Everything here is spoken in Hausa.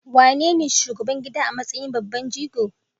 AWanene shugaban gida a matsayin babban jigo?